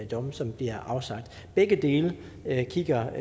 domme som bliver afsagt begge dele kigger